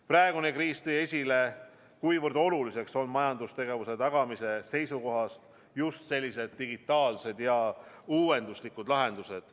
Praegune kriis tõi esile, kuivõrd olulised on majandustegevuse tagamise seisukohast just sellised digitaalsed ja uuenduslikud lahendused.